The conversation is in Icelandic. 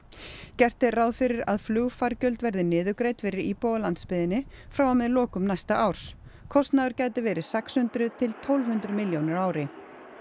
gert er ráð fyrir að flugfargjöld verði niðurgreidd fyrir íbúa á landsbyggðinni frá og með lokum næsta árs kostnaður gæti verið sex hundruð til tólf hundruð milljónir á ári